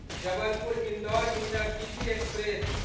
Jabalpur Indore intercity express